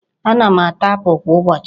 Ana m ata apul kwa ụbọchị.